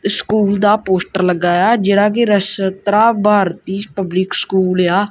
School ਦਾ poster ਲੱਗਾ ਹੋਇਆ ਜਿਹੜਾ ਕੀ ਰਸ਼ਤਰਾ ਭਾਰਤੀਯ ਪਬਲਿਕ ਸਕੂਲ ਏ ਆ।